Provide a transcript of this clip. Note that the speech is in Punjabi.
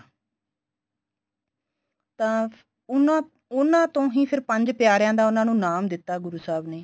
ਤਾਂ ਉਨ੍ਹਾਂ ਉਨ੍ਹਾਂ ਤੋਂ ਹੀ ਫੇਰ ਪੰਜ ਪਿਆਰਿਆਂ ਦਾ ਉਨ੍ਹਾਂ ਨੂੰ ਨਾਮ ਦਿੱਤਾ ਗੁਰੂ ਸਾਹਬ ਨੇ